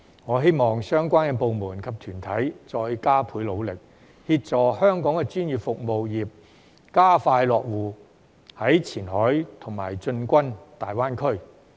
我希望相關部門及團體再加倍努力，協助香港的專業服務業加快落戶前海和進軍大灣區。